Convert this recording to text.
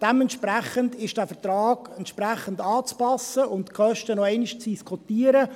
Dementsprechend ist der Vertrag anzupassen, und die Kosten sind noch einmal zu diskutieren.